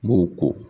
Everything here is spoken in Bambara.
M'o ko